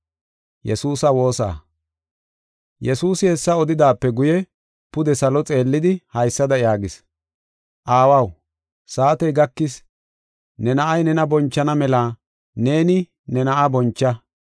Yesuusi hessa odidaape guye pude salo xeellidi, haysada yaagis: “Aawaw, saatey gakis; ne Na7ay nena bonchana mela neeni ne Na7aa boncha.